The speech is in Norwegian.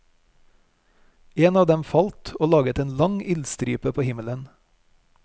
En av dem falt og laget en lang ildstripe på himmelen.